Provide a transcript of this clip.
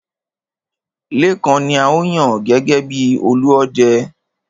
Lékan ni a ó yàn gẹ́gẹ́ bi Olúọdẹ.